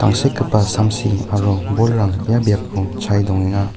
tangsekgipa samsi aro bolrang ia biapo chae dongenga.